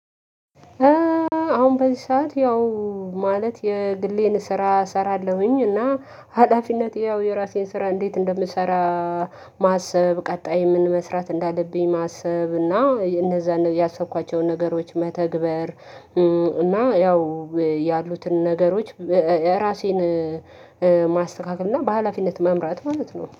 አሁን በዚህ ሰዓት ያው ማለት የግሌን ስራ እሰራለሁኝ እና ሀላፊነት ያው የራሴን ስራ እንዴት እንደምሰራ ማሰብ ቀጣይ የምንመስራት እንዳለብኝ ማሰብ እና እነዛን ያሰብኳቸውን ነገሮች መተግበር እና ያው ያሉትን ነገሮች እራሴን ማስተካከል እና በሃላፊነት መምራት ማለት ነው።